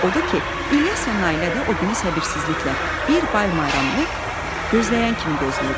Odur ki, İlyas ilə Nailə də o günü səbirsizliklə, bir bayramını gözləyən kimi gözləyirdilər.